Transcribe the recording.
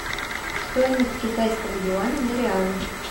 стоимость китайского юаня на реалы